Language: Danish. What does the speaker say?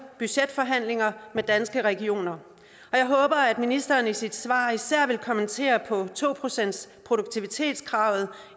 budgetforhandlinger med danske regioner jeg håber at ministeren i sit svar især vil kommentere to procentsproduktivitetskravet